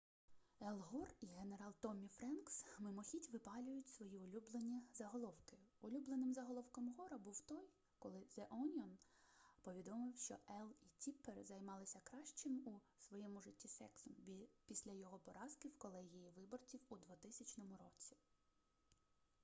ел гор і генерал томмі френкс мимохідь випалюють свої улюблені заголовки улюбленим заголовком гора був той коли зе оніон повідомив що ел і тіппер займалися кращим у своєму житті сексом після його поразки в колегії виборців у 2000 році